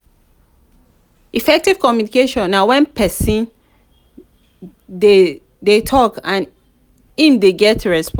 effective communication na when persin de de talk and im de get response